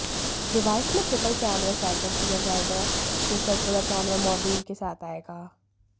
device में triple camera setup दिया जाएगा जो सर्कुलर कैमरा मोड्यूल के साथ आएगा